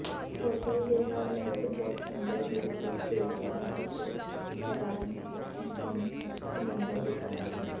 hotel ਦੇ highlight ਬਹੁਤ ਸੁੰਦਰ ਰੂਪ ਵਿੱਚ ਦੇਖਿਆ ਹੈ ਅਤੇ ਹੈਰਾਨਕੁੰਨ ਸਮੁੰਦਰ ਵਿਚਾਰ ਹੈ